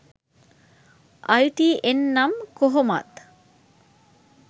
අයි T N නම් කොහොමත්